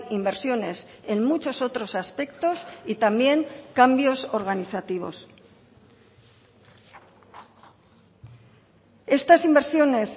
inversiones en muchos otros aspectos y también cambios organizativos estas inversiones